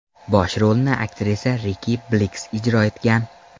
Bosh rolni aktrisa Riki Blix ijro etgan.